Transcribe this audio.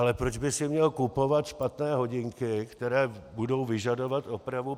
Ale proč by si měl kupovat špatné hodinky, které budou vyžadovat opravu?